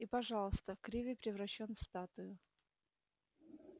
и пожалуйста криви превращён в статую